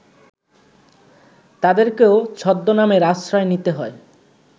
তাঁদেরকেও ছদ্মনামের আশ্রয় নিতে হয়